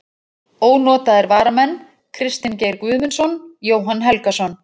Ónotaðir varamenn: Kristinn Geir Guðmundsson, Jóhann Helgason.